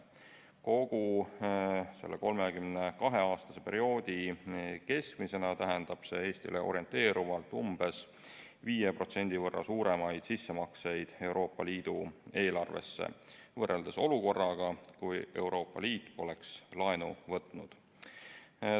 Kogu selle 32-aastase perioodi keskmisena tähendab see Eestile orienteerivalt 5% võrra suuremaid sissemakseid Euroopa Liidu eelarvesse võrreldes olukorraga, kui Euroopa Liit poleks laenu võtnud.